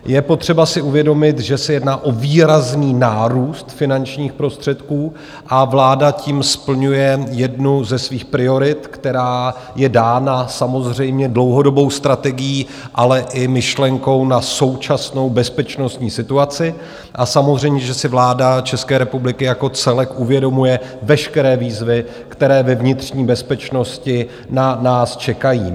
Je potřeba si uvědomit, že se jedná o výrazný nárůst finančních prostředků, a vláda tím splňuje jednu ze svých priorit, která je dána samozřejmě dlouhodobou strategií, ale i myšlenkou na současnou bezpečnostní situaci, a samozřejmě že si vláda České republiky jako celek uvědomuje veškeré výzvy, které ve vnitřní bezpečnosti na nás čekají.